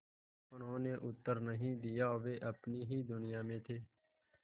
उन्होंने उत्तर नहीं दिया वे अपनी ही दुनिया में थे